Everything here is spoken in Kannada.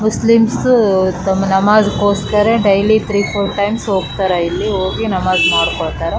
ಮುಸ್ಲಿಮ್ಸ್ ಒಂದು ನಮಾಜ್ ಗೋಸ್ಕರ ಡೈಲಿ ತ್ರೀ ಫೋರ್ ಟೈಮ್ಸ್ ಹೋಗ್ತಾರ ಇಲ್ಲಿ ಹೋಗಿ ನಮಾಜ್ ಮಾಡಕೊಳ್ಳ್ತಾರಾ .